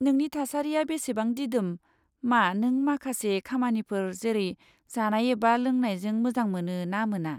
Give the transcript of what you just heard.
नोंनि थासारिया बेसेबां दिदोम, मा नों माखासे खामानिफोर जेरै जानाय एबा लोंनायजों मोजां मोनो ना मोना?